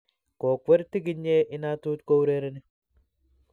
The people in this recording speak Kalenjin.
Kokwer tigiknye inatut yo kourereni